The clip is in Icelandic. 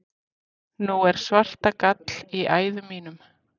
Nú er svartagall í æðum mínum.